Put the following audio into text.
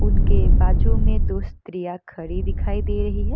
उनके बाजु में दो स्त्रियाँ खड़ी दिखाई दे रही हैं।